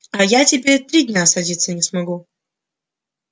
а я теперь три дня садиться не смогу